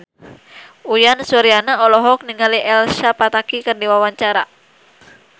Uyan Suryana olohok ningali Elsa Pataky keur diwawancara